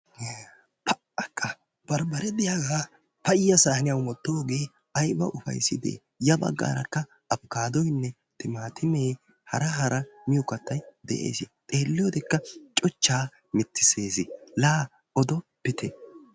Pa"akka! barbbaree diyaagaa payya saaniyaan wottoogee ayba ufayssidee ya baggarakka afikkaadoyinne timaatimee hara hara miyoo kattay de'ees. xeelliyoodekka cuchchaa mitisees. laa odoppitte.